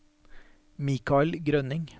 Michael Grønning